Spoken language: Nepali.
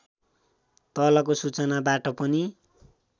तलको सूचनाबाट पनि